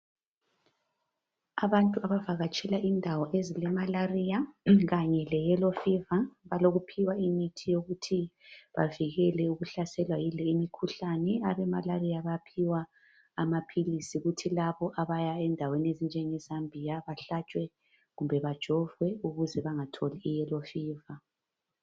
Abantu abavakatshela indawo ezilemalaria kanye leyellow fever balokuphiwa imithi yokuthi bavikele ukuhlaselwa yileyi mkhuhlani. Abemalaria bayaphiwa amaphilisi kuthi laba abaya endaweni ezinjenge Zambia bahlatshwe kumbe bajovwe ukuze bangatholi iyellow fever.